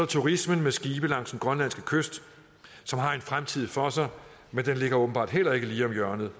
turismen med skibe langs den grønlandske kyst som har en fremtid for sig men den ligger åbenbart heller ikke lige om hjørnet